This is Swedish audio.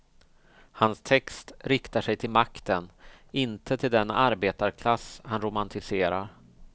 Hans text riktar sig till makten, inte till den arbetarklass han romantiserar.